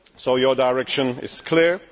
Your direction is clear.